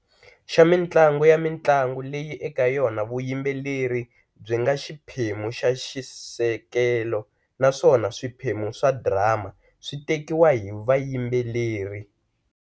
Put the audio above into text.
Xa mintlangu ya mintlangu leyi eka yona vuyimbeleri byi nga xiphemu xa xisekelo naswona swiphemu swa drama swi tekiwa hi vayimbeleri.